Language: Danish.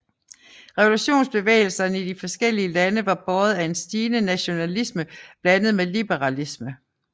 Revolutionsbevægelserne i de forskellige lande var båret af en stigende nationalisme blandet med liberalisme